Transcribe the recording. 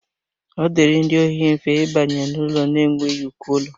Ọ dịịrị ndị ohi mfe ịbanye n'ụlọ na-enweghị uko ụlọ